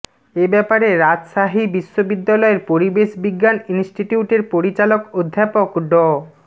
এব্যাপারে রাজশাহী বিশ্ববিদ্যালয়ের পরিবেশ বিজ্ঞান ইনস্টিটিউটের পরিচালক অধ্যাপক ড